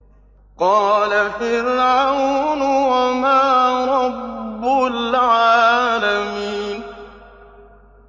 قَالَ فِرْعَوْنُ وَمَا رَبُّ الْعَالَمِينَ